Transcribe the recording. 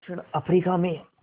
दक्षिण अफ्रीका में